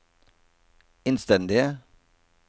innstendige